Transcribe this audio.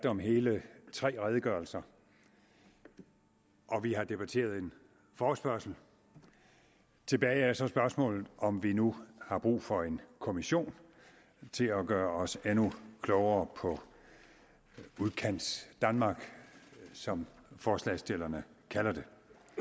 om hele tre redegørelser og vi har debatteret en forespørgsel tilbage står så spørgsmålet om vi nu har brug for en kommission til at gøre os endnu klogere på udkantsdanmark som forslagsstillerne kalder det